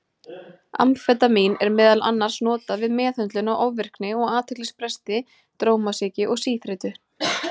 Amfetamín er meðal annars notað við meðhöndlun á ofvirkni og athyglisbresti, drómasýki og síþreytu.